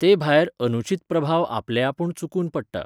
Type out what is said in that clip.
ते भायर, अनुचीत प्रभाव आपलेआपूण चुकून पडटा.